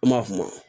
An m'a f'o ma